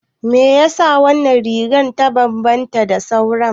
Me yasa wannan rigar ta bambanta da sauran?